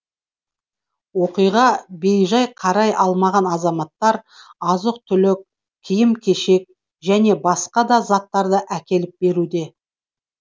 оқиғаға бейжай қарай алмаған азаматтар азық түлік киім кешек және басқа да заттарды әкеліп беруде